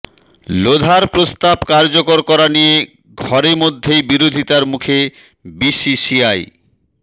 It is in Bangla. লোধার প্রস্তাব কার্যকর করা নিয়ে ঘরে মধ্যেই বিরোধিতার মুখে বিসিসিআই